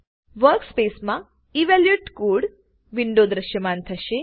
વર્કસ્પેસમા evaluate code window દ્રશ્યમાન થશે